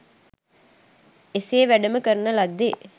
එසේ වැඩම කරන ලද්දේ